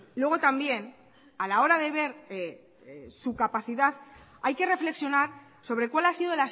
luego también a la hora de ver su capacidad hay que reflexionar sobre cuál ha sido